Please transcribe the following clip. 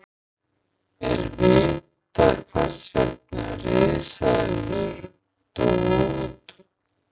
Er vitað hvers vegna risaeðlur dóu út?